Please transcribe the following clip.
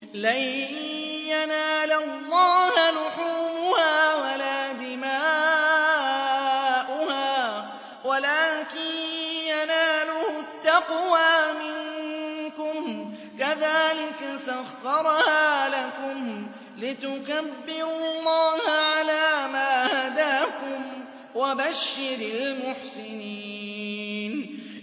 لَن يَنَالَ اللَّهَ لُحُومُهَا وَلَا دِمَاؤُهَا وَلَٰكِن يَنَالُهُ التَّقْوَىٰ مِنكُمْ ۚ كَذَٰلِكَ سَخَّرَهَا لَكُمْ لِتُكَبِّرُوا اللَّهَ عَلَىٰ مَا هَدَاكُمْ ۗ وَبَشِّرِ الْمُحْسِنِينَ